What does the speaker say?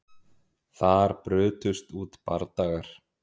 Þar brutust út bardagar